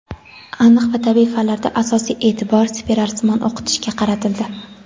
Aniq va tabiiy fanlarda asosiy eʼtibor spiralsimon o‘qitishga qaratildi.